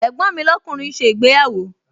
Ẹ̀gbọ́n mi lọ́kùnrin ń ṣe ìgbéyàwó